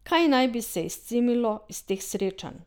Kaj naj bi se izcimilo iz teh srečanj?